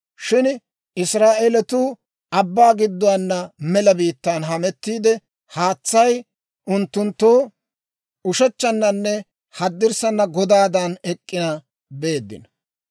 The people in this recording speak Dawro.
Shin Israa'eeletuu abbaa gidduwaana mela biittaan hametiide, haatsay unttunttoo ushechchannanne haddirssana godaadan ek'k'ina beeddino.